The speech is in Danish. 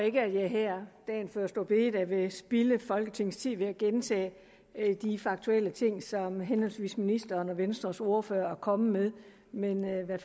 ikke at jeg her dagen før store bededag vil spilde folketingets tid ved at gentage de faktuelle ting som henholdsvis ministeren og venstres ordfører er kommet med men jeg vil